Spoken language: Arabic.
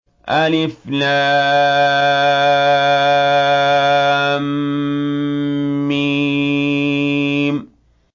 الم